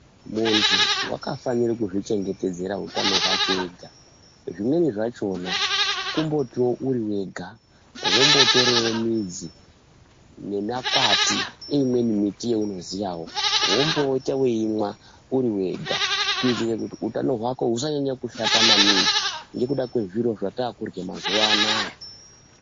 Muntu vakafanire kuzvichengetedzera utano hwake ega. Zvimweni zvachona kungotivo ui vega vombotorevo midzi nemakwati eimweni miti yaunoziyavo vombopota veimwa urivega. Kuitire kuti utano hwako husanyanya kushata maningi nekuda kwezviro zvatakurya mazuva anaya.